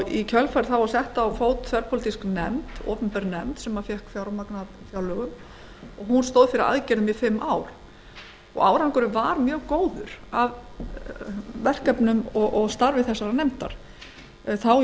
í kjölfarið var sett á fót þverpólitísk nefnd opinber nefnd sem fékk fjármagn af fjárlögum og hún stóð fyrir aðgerðum í um fimm ár árangurinn af verkefnum og starfi þessarar nefndar var mjög góður þá